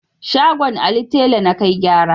Shagon Ali tela na kai gyara.